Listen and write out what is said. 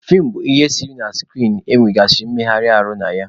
Feem bụ ihe eserese na skrin e nwegasịrị mmegharị ahụ na ya.